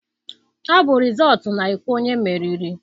Ọ bụ rịzọọtụ na-ekwu onye meriri.